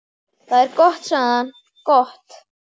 Það er gott sagði hann, gott